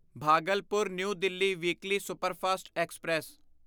Bhagalpur new Delhi weekly superfast express